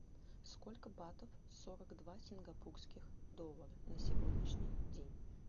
сколько батов сорок два сингапурских доллара на сегодняшний день